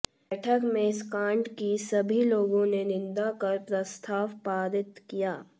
बैठक में इस कांड की सभी लोगों ने निंदा कर प्रस्ताव पारित किया